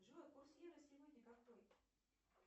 джой курс евро сегодня какой